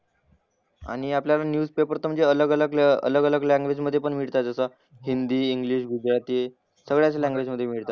आणि आपल्याला न्यूजपेपर तर म्हणजे अलग अलग अलग अलग लँग्वेज मधे पण मिळतात आता. हिंदी, इंग्लिश, गुजराती, सगळ्याच लँग्वेजमधे मिळतात.